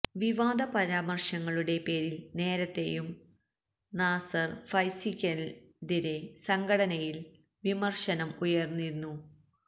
വിവാദ പരാമര്ശങ്ങളുടെ പേരില് നേരത്തെയും നാസര് ഫൈസിക്കെതിരെ സംഘടനയില് വിമര്ശനം ഉയര്ന്നിരുന്നു